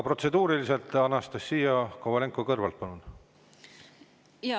Protseduuriline, Anastassia Kovalenko-Kõlvart, palun!